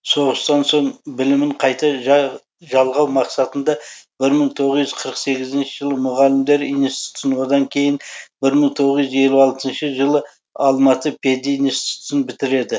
соғыстан соң білімін қайта жалғау мақсатында бір мың тоғыз жүз қырық сегізінші жылы мұғалімдер институтын одан кейін бір мың тоғыз жүз елу алтыншы жылы алматы пединститутын бітіреді